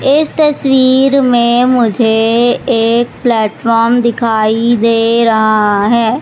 इस तस्वीर में मुझे एक प्लेटफार्म दिखाई दे रहा है।